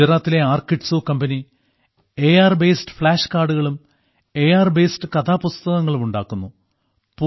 ഗുജറാത്തിലെ ARKidzoo company A R based flash കാർഡുകളും A R based കഥാപുസ്തകങ്ങളും ഉണ്ടാക്കുന്നു